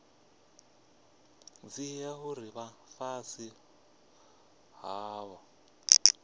dzhia uri vha fhasi havho